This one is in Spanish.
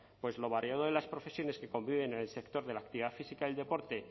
pues lo variado de las profesiones que conviven en el sector de la actividad física y el deporte